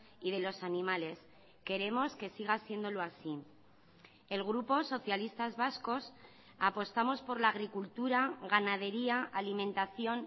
y de los animales queremos que siga siéndolo así el grupo socialistas vascos apostamos por la agricultura ganadería alimentación